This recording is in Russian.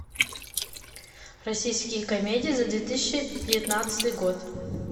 российские комедии за две тысячи девятнадцатый год